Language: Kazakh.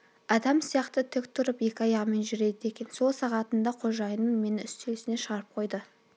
адам сияқты тік тұрып екі аяғымен жүреді екен сол сағатында қожайыным мені үстел үстіне шығарып қойды